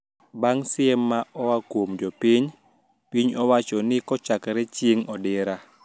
Bang` siem ma oa kuom jopiny, piny owacho ni kachakre chieng` odira